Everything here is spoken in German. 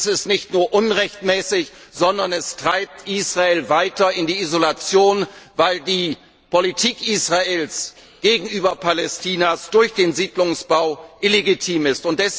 Dies ist nicht nur unrechtmäßig, sondern es treibt Israel weiter in die Isolation, weil die Politik Israels gegenüber Palästina durch den Siedlungsbau illegitim ist.